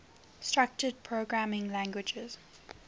structured programming languages